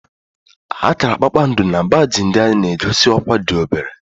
Akara kpakpando na baajị ndị agha na-egosi ọkwá dị obere